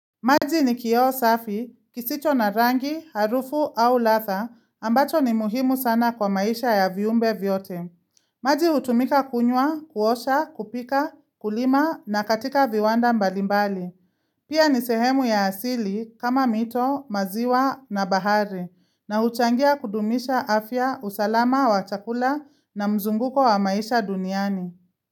Maji ni kioo safi, kisicho na rangi, harufu au latha ambacho ni muhimu sana kwa maisha ya viumbe vyote. Maji utumika kunywa, kuosha, kupika, kulima na katika viwanda mbalimbali. Pia ni sehemu ya asili kama mito, maziwa na bahari na huchangia kudumisha afya, usalama wa chakula na mzunguko wa maisha duniani.